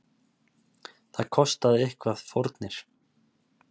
Það kostar auðvitað fórnir.